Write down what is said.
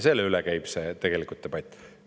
Selle üle käib tegelikult debatt.